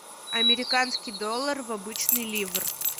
американский доллар в обычный ливр